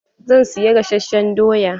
Zan siya gasasshen doya.